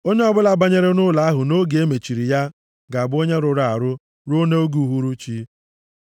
“Onye ọbụla banyere nʼụlọ ahụ nʼoge e mechiri ya, ga-abụ onye rụrụ arụ ruo nʼoge uhuruchi.